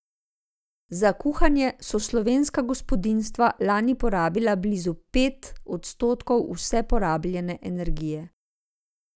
Za kuhanje so slovenska gospodinjstva lani porabila blizu pet odstotkov vse porabljene energije.